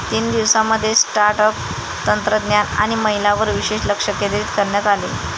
तीन दिवसांमध्ये startup, तंत्रज्ञान आणि महिलांवर विशेष लक्ष केंद्रित करण्यात आले.